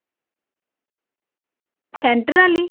center ਆਲੀ